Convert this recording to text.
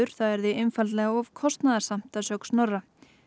það yrði einfaldlega of kostnaðarsamt að sögn Snorra